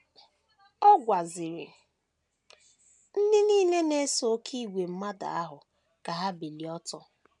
Ọ gwaziri ndị nile so n’oké ìgwè mmadụ ahụ ka ha bilie ọtọ.